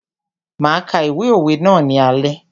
Máa ka ìwé òwe ná ní alé.